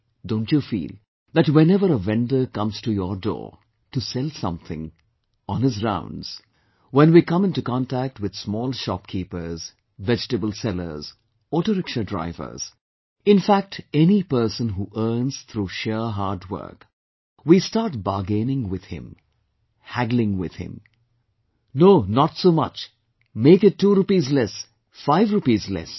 Don't you feel that whenever a vendor comes to your door to sell something, on his rounds, when we come into contact with small shopkeepers, vegetable sellers, auto rickshaw drivers in fact any person who earns through sheer hard work we start bargaining with him, haggling with him "No not so much, make it two rupees less, five rupees less